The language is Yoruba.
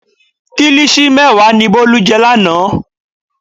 Kílíṣì mẹ́wàá ni Bólú jẹ lánàá.